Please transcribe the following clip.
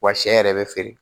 Wa sɛ yɛrɛ bɛ feere